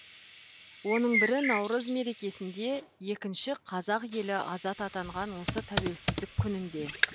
оның бірі наурыз мерекесінде екінші қазақ елі азат атанған осы тәуелсіздік күнінде